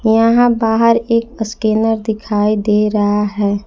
यहां बाहर एक स्कैनर में दिखाई दे रहा है।